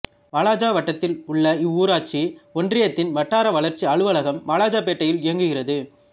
வாலாஜா வட்டத்தில் உள்ள இவ்வூராட்சி ஒன்றியத்தின் வட்டார வளர்ச்சி அலுவலகம் வாலாஜாபேட்டையில் இயங்குகிறது